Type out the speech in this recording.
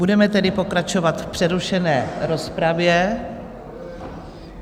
Budeme tedy pokračovat v přerušené rozpravě.